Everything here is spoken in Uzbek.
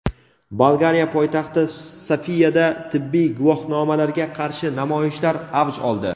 Bolgariya poytaxti Sofiyada tibbiy guvohnomalarga qarshi namoyishlar avj oldi.